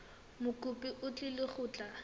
mokopi o tlile go tla